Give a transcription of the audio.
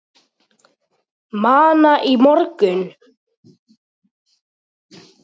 Manna í morgun.